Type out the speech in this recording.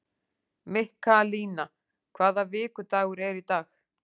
Mikkalína, hvaða vikudagur er í dag?